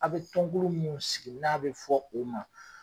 A bi ton kolon min sigi n'a bɛ fɔ o ma